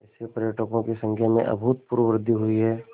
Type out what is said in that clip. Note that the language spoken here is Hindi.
इससे पर्यटकों की संख्या में अभूतपूर्व वृद्धि हुई है